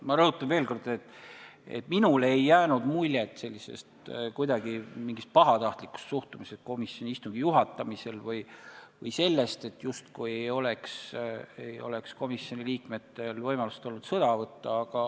Ma rõhutan veel kord, et minule ei jäänud kuidagi muljet mingist pahatahtlikust suhtumisest komisjoni istungi juhatamisel või sellest, et komisjoni liikmetel poleks justkui olnud võimalust sõna võtta.